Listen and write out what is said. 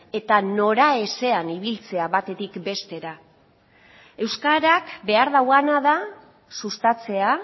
eta noraezean ibiltzea batetik bestera euskarak behar duena da sustatzea